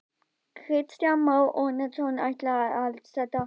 Kristján Már Unnarsson: Ætlið þið ykkur að standa við það?